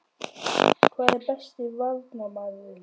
Hver er besti Varnarmaðurinn?